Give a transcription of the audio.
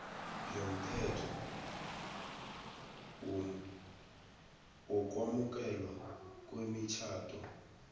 yomthetho wokwamukelwa kwemitjhado